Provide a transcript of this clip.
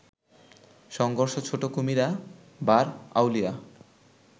সংঘর্ষ ছোট কুমিরা, বার আউলিয়া